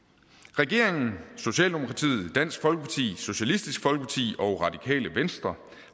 regeringen socialdemokratiet dansk folkeparti socialistisk folkeparti og radikale venstre